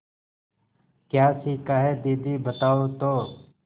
क्या सीखा है दीदी बताओ तो